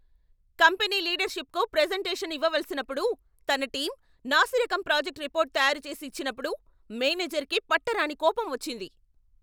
Company లీడర్షిప్కు presentation ఇవ్వవలసినప్పుడు తన టీం నాసిరకం ప్రాజెక్ట్ రిపోర్ట్ తయారు చేసి ఇచ్చినప్పుడు మేనేజర్కి పట్టరాని కోపం వచ్చింది.